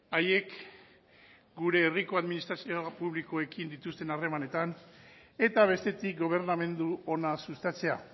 haiek gure herriko administrazio publikoekin dituzten harremanetan eta bestetik gobernamendu ona sustatzea